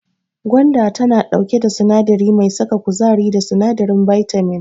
Gwanda tana ɗauke da sinadari mai saka kuzari da sinadarin bitamin.